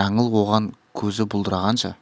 жаңыл оған көзі бұлдырағанша